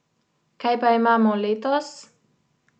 Kaj pa imamo letos?